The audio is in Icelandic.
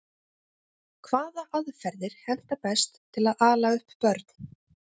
hvaða aðferðir henta best til að ala upp börn